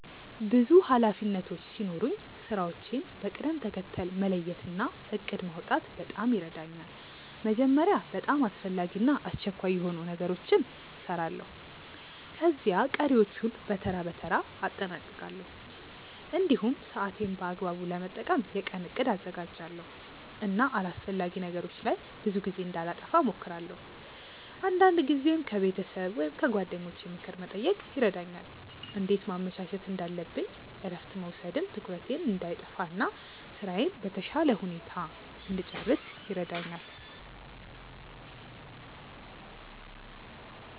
ብዙ ኃላፊነቶች ሲኖሩኝ ስራዎቼን በቅደም ተከተል መለየት እና እቅድ ማውጣት በጣም ይረዳኛል። መጀመሪያ በጣም አስፈላጊ እና አስቸኳይ የሆኑ ነገሮችን እሰራለሁ፣ ከዚያ ቀሪዎቹን በተራ በተራ አጠናቅቃለሁ። እንዲሁም ሰዓቴን በአግባቡ ለመጠቀም የቀን እቅድ አዘጋጃለሁ እና አላስፈላጊ ነገሮች ላይ ብዙ ጊዜ እንዳላጠፋ እሞክራለሁ። አንዳንድ ጊዜም ከቤተሰብ ወይም ከጓደኞቼ ምክር መጠየቅ ይረዳኛል እንዴት ማመቻቸት እንዳለብኝ እረፍት መውሰድም ትኩረቴን እንዳይጠፋ እና ስራዬን በተሻለ ሁኔታ እንድጨርስ ይረዳኛል።